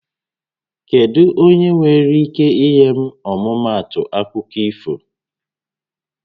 Kedụ onyé nwéré íké inye m ọmụmaatụ akụkọ ifo?